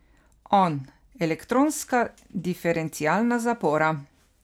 On: 'Elektronska diferencialna zapora.